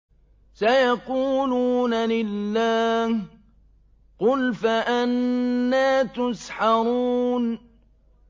سَيَقُولُونَ لِلَّهِ ۚ قُلْ فَأَنَّىٰ تُسْحَرُونَ